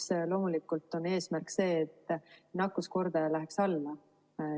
Esiteks, loomulikult on eesmärk see, et nakkuskordaja läheks alla.